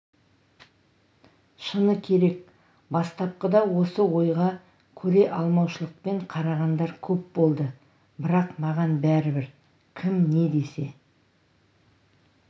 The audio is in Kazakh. шыны керек бастапқыда осы ойға көре алмаушылықпен қарағандар көп болды бірақ маған бәрібір кім не десе